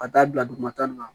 Ka taa bila dugumata nin na